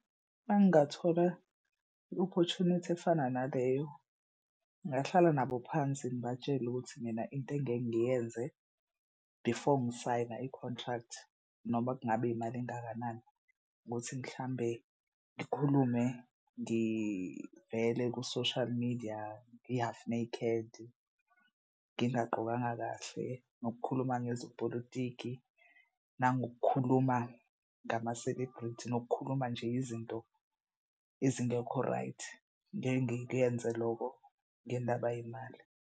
Uma ngingathola i-opportunity efana naleyo ngahlala nabo phansi ngibatshele ukuthi mina into engeke ngiyenze before ngisayina i-contract noma kungabe imali engakanani ukuthi mhlawumbe ngikhulume ngivele ku-social media ngi-half naked ngingagqokanga kahle nokukhuluma ngezopolitiki nangokukhuluma ngama-celebrity nokukhuluma nje izinto ezingekho right. Ngeke ngikuyenze loko ngendaba yemali.